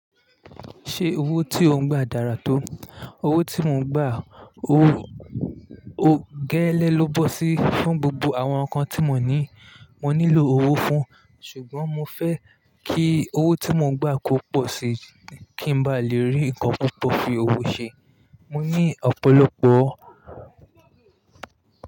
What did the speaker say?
Ṣé owó tí o ń gba dára tó? Owó tí mo ń gba, ó gẹ́lẹ́ ló bọ́ sí. Fún gbogbo àwọn nǹkan tí mo ní, mo nílò owó fún, ṣùgbọ́n mo fẹ́ kí owó tí mo ń gba kó pọ̀ si kí n ba lè rí nǹkan púpọ̀ fi owó ṣe. Mo ní ọ̀pọ̀lọpọ̀